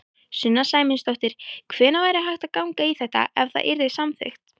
Sunna Sæmundsdóttir: Hvenær væri hægt að ganga í þetta, ef það yrði samþykkt?